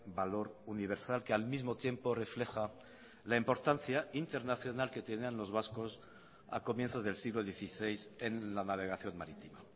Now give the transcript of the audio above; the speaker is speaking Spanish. valor universal que al mismo tiempo refleja la importancia internacional que tenían los vascos a comienzos del siglo dieciséis en la navegación marítima